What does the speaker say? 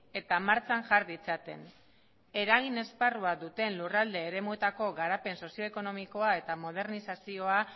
eta martxan jar ditzaten eragin esparrua duten lurralde eremuetako garapen sozio ekonomikoa eta modernizazioa